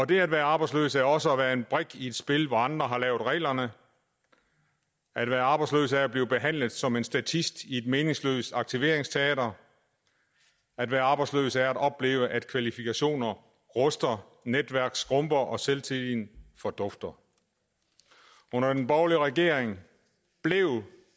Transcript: det at være arbejdsløs er også at være en brik i et spil hvor andre har lavet reglerne at være arbejdsløs er at blive behandlet som en statist i et meningsløst aktiveringsteater at være arbejdsløs er at opleve at kvalifikationer ruster netværk skrumper og selvtilliden fordufter under den borgerlige regering blev